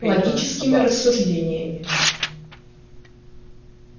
логическими рассуждениями